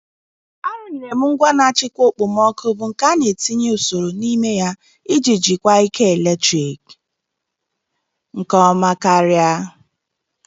A rụnyere m ngwa na-achịkwa okpomọkụ bụ nke a na etinye usoro n'ime ya iji jikwaa ike eletrik nke ọma karịa.